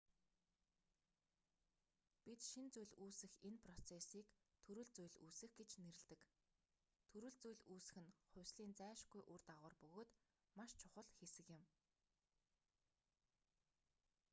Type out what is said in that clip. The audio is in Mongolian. бид шинэ зүйл үүсэх энэ процессыг төрөл зүйл үүсэх гэж нэрлэдэг төрөл зүйл үүсэх нь хувьслын зайлшгүй үр дагавар бөгөөд маш чухал хэсэг юм